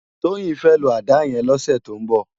Toyin fè ló àdá yèn lòsè tó n bò